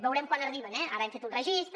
veurem quan arriben eh ara hem fet un registre